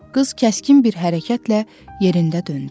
Qız kəskin bir hərəkətlə yerində döndü.